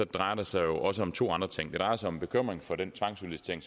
drejer det sig jo også om to andre ting det drejer sig om en bekymring for den tvangsudlicitering